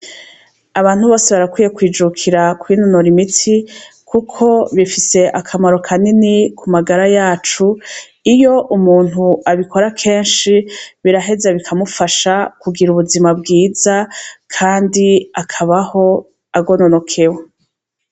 Abantu bose barakwiye kwijukira kubinonora imiti, kuko bifise akamaro ka nini ku magara yacu iyo umuntu abikora kenshi biraheza bikamufasha kugira ubuzima bwiza, kandi akabaho agononokewe.